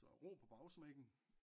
Så ro på bagsmækken